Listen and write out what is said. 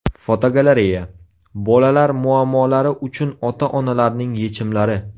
Fotogalereya: Bolalar muammolari uchun ota-onalarning yechimlari.